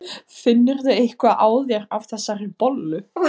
Finnurðu eitthvað á þér af þessari bollu?